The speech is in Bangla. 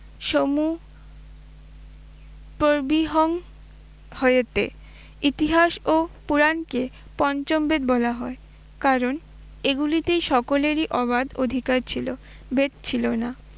সমু পরবিহং ভয়তে। ইতিহাস ও পুরানকে পঞ্চম বেদ বলা হয় কারণ এগুলিতেই সকলেরই অবাধ অধিকার ছিল, ভেদ ছিল না।